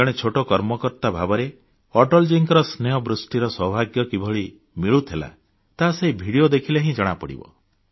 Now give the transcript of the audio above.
ଜଣେ ଛୋଟ କର୍ମକର୍ତ୍ତା ଭାବରେ ଅଟଳଜୀଙ୍କ ସ୍ନେହବୃଷ୍ଟିର ସୌଭାଗ୍ୟ କିଭଳି ମିଳୁଥିଲା ତାହା ସେହି ଭିଡିଓ ଦେଖିଲେ ହିଁ ଜଣାପଡ଼ିବ